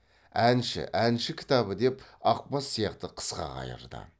әнші әнші кітабы деп ақбас сияқты қысқа қайырды